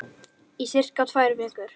Í sirka tvær vikur.